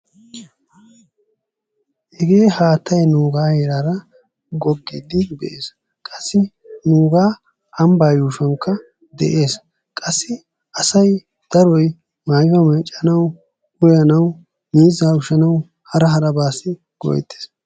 hagee haattay nuugaa heeraara gogiidi de'ees, qassi nuugaa ambaaa yuushshuwankka de'ees, qassi miiza heemanawu, maayuwa meecanawu uyanawu hara harabaasi go'eetees.